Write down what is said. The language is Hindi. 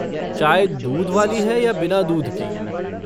चाय दूध वाली है या बिना दूध की?